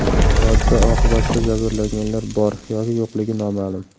Hodisa oqibatida jabrlanganlar bor yoki yo‘qligi noma’lum.